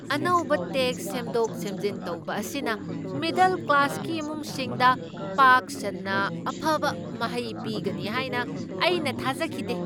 ꯑꯅꯧꯕ ꯇꯦꯛꯁ ꯁꯦꯝꯗꯣꯛ ꯁꯦꯝꯖꯤꯟ ꯇꯧꯕ ꯑꯁꯤꯅ ꯃꯤꯗꯜ ꯀ꯭ꯂꯥꯁꯀꯤ ꯏꯃꯨꯡꯁꯤꯡꯗ ꯄꯥꯛ ꯁꯟꯅ ꯑꯐꯕ ꯃꯍꯩ ꯄꯤꯒꯅꯤ ꯍꯥꯏꯅ ꯑꯩꯅ ꯊꯥꯖꯈꯤꯗꯦ꯫